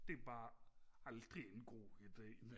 det er bare aldrig en god ide